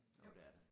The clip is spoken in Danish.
Jo det er det